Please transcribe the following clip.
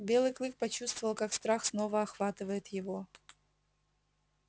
белый клык почувствовал как страх снова охватывает его